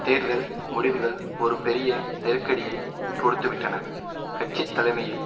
தேர்தல் முடிவுகள் ஒரு பெரிய நெருக்கடியை கொடுத்துவிட்டன கட்சித்தலைமையில்